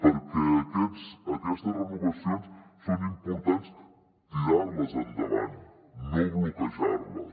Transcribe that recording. perquè aquestes renovacions són importants tirar les endavant no bloquejar les